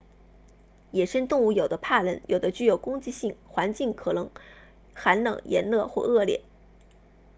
野生动物有的怕人有的具有攻击性环境可能寒冷炎热或恶劣